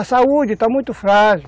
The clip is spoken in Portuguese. A saúde está muito frágil.